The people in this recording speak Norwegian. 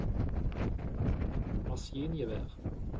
maskingevær